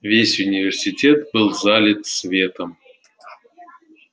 весь университет был залит светом